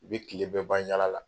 U bɛ tile bɛɛ ban yaala la.